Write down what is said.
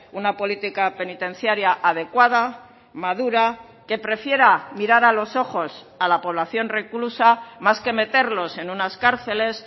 una política penitenciaria adecuada madura que prefiera mirar a los ojos a la población reclusa más que meterlos en unas cárceles